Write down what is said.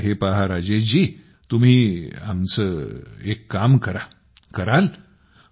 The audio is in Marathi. मात्र हे पहा राजेशजी तुम्ही आमचे एक काम कराल